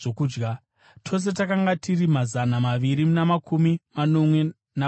Tose takanga tiri mazana maviri namakumi manomwe navatanhatu.